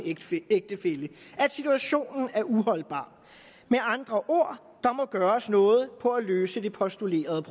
ægtefælle at situationen er uholdbar med andre ord der må gøres noget for at løse det postulerede